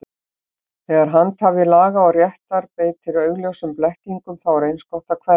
Þegar handhafi laga og réttar beitir augljósum blekkingum, þá er eins gott að kveðja.